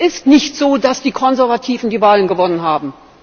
Es ist nicht so, dass die Konservativen die Wahlen gewonnen haben.